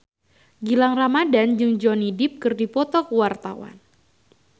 Gilang Ramadan jeung Johnny Depp keur dipoto ku wartawan